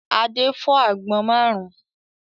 Adé fọ́ àgbọn márùn-ún.